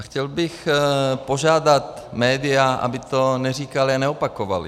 A chtěl bych požádat média, aby to neříkala a neopakovala.